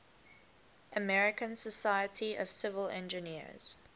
american society of civil engineers